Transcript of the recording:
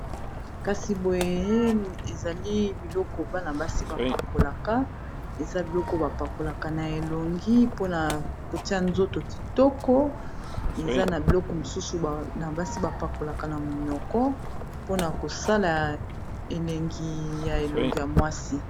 Kasi boye ezali biloko bana basi ba pakolaka eza biloko ba pakolaka na elongi mpona kotia nzoto kitoko eza na biloko mosusu na basi ba pakolaka na minoko mpona kosala elengi ya elongi ya mwasi.